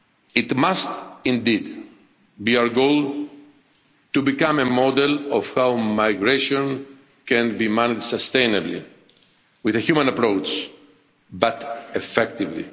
year. It must indeed be our goal to become a model of how migration can be managed sustainably with a human approach, but effectively.